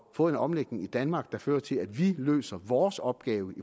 få en omlægning i danmark der fører til at vi løser vores opgave i